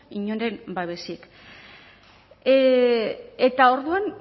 inoren babesik eta orduan